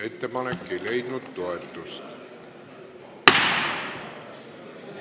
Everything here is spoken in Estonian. Ettepanek ei leidnud toetust.